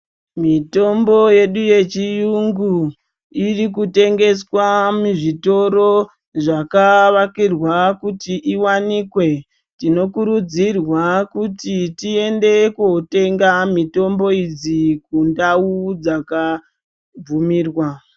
Mitombo yedu yechiyungu iri kutengeswa muzvitoro zvakavakirwa kuti iwanikwe, tinokurudzirwa kuti tiende kotenga mitombo idzi kundau dzakabvumirwa.